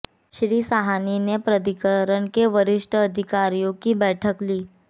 श्री साहनी ने प्राधिकरण के वरिष्ठ अधिकारियों की बैठक ली